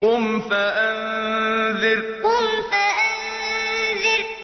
قُمْ فَأَنذِرْ قُمْ فَأَنذِرْ